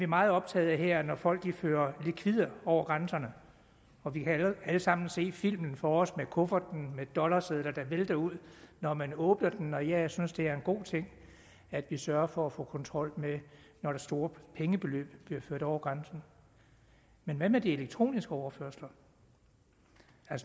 meget optaget af når folk fører likvider over grænserne og vi kan alle sammen se filmen for os med kufferten med dollarsedler der vælter ud når man åbner den og jeg synes det er en god ting at vi sørger for at få kontrol når store pengebeløb bliver ført over grænsen men hvad med de elektroniske overførsler